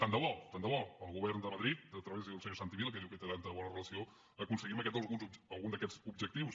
tant de bo tant de bo del govern de madrid a través del senyor santi vila que diu que hi té tan bona relació aconseguim algun d’aquests objectius